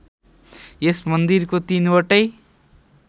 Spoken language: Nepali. यस मन्दिरको तीनवटै